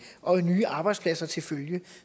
og nye arbejdspladser til følge